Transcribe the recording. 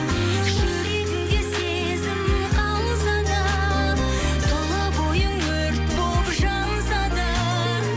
жүрегіңде сезім қалса да тұла бойың өрт болып жанса да